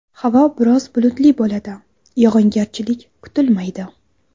Havo biroz bulutli bo‘ladi, yog‘ingarchilik kutilmaydi.